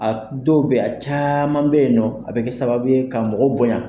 A dɔw bɛyi a caaman bɛyinɔ a bɛ kɛ sababu ye ka mɔgɔ bonya.